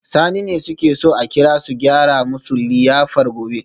Sani ne suke so a kira su gyara musu liyafar gobe